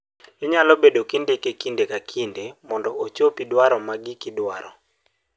inyalo bedo kindike kinde ka kinde mondo ochopi dwaro magiki dwaro